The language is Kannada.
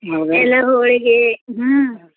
ಎಲ್ಲಾ ಹೋಳಿಗೆ ಹ್ಮ್.